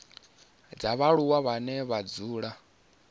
dza vhaaluwa vhane vha dzula